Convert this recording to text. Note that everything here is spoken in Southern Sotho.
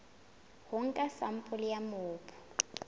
ho nka sampole ya mobu